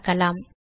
பார்க்கலாம்